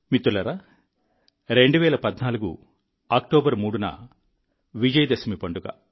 మిత్రులారా 2014 అక్టోబర్ 3న విజయ దశమి పండుగ